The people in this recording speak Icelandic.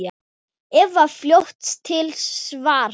Eva er fljót til svars.